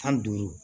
Tan duuru